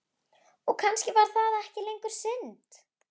Og kannski var það ekki lengur synd.